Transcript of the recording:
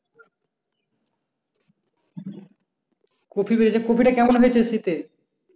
Copy বেচে কপিটা কেমন হয়েছে শীতে?